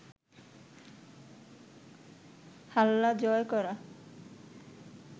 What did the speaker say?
হাল্লা জয় করা